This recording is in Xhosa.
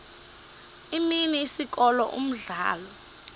imini isikolo umdlalo